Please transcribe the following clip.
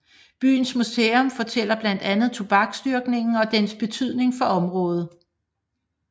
Byens museum fortæller blandt andet tobaksdyrkningen og dens betydning for området